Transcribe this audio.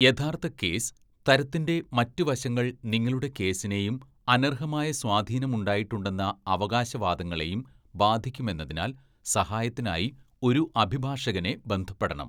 യഥാർത്ഥ കേസ് തരത്തിന്റെ മറ്റ് വശങ്ങൾ നിങ്ങളുടെ കേസിനെയും അനർഹമായ സ്വാധീനമുണ്ടായിട്ടുണ്ടെന്ന അവകാശവാദങ്ങളെയും ബാധിക്കുമെന്നതിനാൽ സഹായത്തിനായി ഒരു അഭിഭാഷകനെ ബന്ധപ്പെടണം.